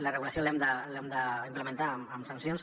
la regulació l’hem d’implementar amb sancions